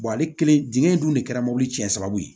ale kelen dingɛ in dun de kɛra mobili cɛn sababu ye